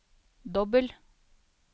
dobbel